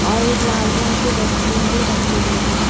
और एक लाल रंग की डस्टबिन भी रखी हुई है।